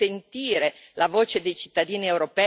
Allora vuole farlo anche il Parlamento?